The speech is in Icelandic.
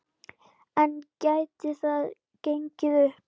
En gæti það gengið upp?